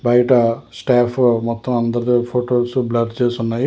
బయట స్టాఫ్ మొత్తం అందరు ఫొటోస్ బ్లాక్ చేసి ఉన్నాయి.